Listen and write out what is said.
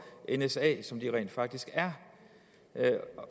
nsa som de rent faktisk er